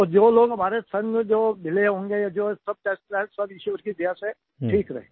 और जो लोग हमारे संग मिले होंगे जो टेस्ट करवाए ईश्वर की दया से ठीक रहे